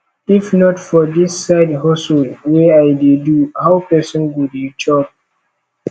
if not for dis side hustle wey i dey do how person go dey cope